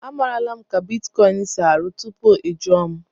Amarala m ka bitkọịn si arụ ọrụ tupu ị jụọ m.